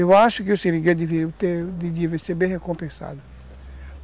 Eu acho que o seringueiro deveria ter, deveria ser bem recompensado.